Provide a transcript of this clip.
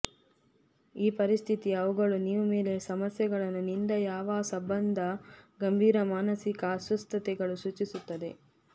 ಈ ಪರಿಸ್ಥಿತಿ ಅವುಗಳು ನೀವು ಮೇಲೆ ಸಮಸ್ಯೆಗಳನ್ನು ನಿಂದ ಯಾವ ಸಂಬಂಧ ಗಂಭೀರ ಮಾನಸಿಕ ಅಸ್ವಸ್ಥತೆಗಳು ಸೂಚಿಸುತ್ತದೆ